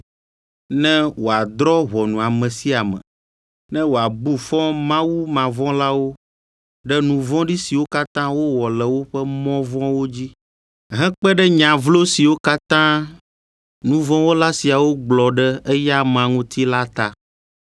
ne wòadrɔ̃ ʋɔnu ame sia ame, ne wòabu fɔ mawumavɔ̃lawo ɖe nu vɔ̃ɖi siwo katã wowɔ le woƒe mɔ vɔ̃wo dzi hekpe ɖe nya vlo siwo katã nu vɔ̃ wɔla siawo gblɔ ɖe eya amea ŋuti la ta.”